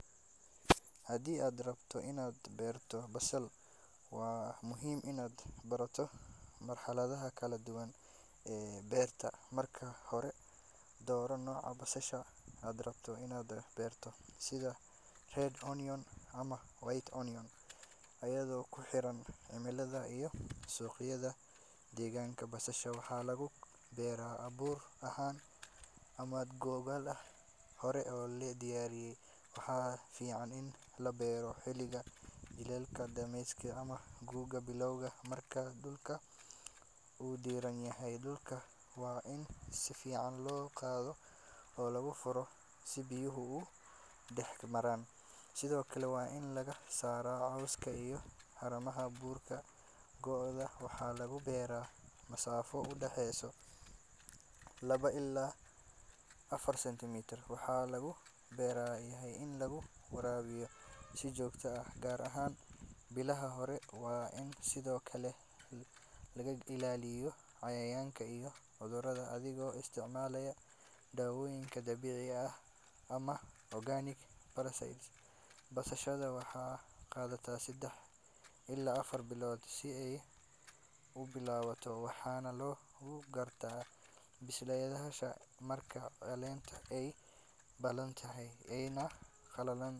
Faa’iidooyinka ku jira is gooska basasha guga iyo khudaarta kale waa kuwo badan oo muhiim u ah beeraleyda iyo bulshada guud ahaan marka beeraleydu isku mar beeraan basasha guga iyo khudaar kale waxay helayaan faa’iidooyin badan sida ilaalinta nafaqada dhulka iyo yareynta halista cudurrada ku dhaca dhirta sidoo kale waxay kordhinayaan wax soo saarka maxaa yeelay dhirtu waxay ka wada faa’iideysataa qoyaanka iyo nafaqada iyadoo aan is khilaafin beeraleyda waxay sidoo kale helayaan dakhli kala duwan maadaama ay iibin karaan noocyo kala duwan oo khudaar ah taasoo ka caawisa in aysan ku tiirsanaan hal nooc oo dalag ah isla markaana ay helaan suuqyo badan oo kala duwan sidoo kale is gooska noocan ah wuxuu yareeyaa khasaaraha haddii mid ka mid ah dalagyada uu fashilmo kan kalena wuu guulaysan karaa waana hab caqli badan oo beeraleydu u adeegsan karaan si ay u ilaashadaan wax soo saarkooda una helaan nolol dhaqaale oo deggan.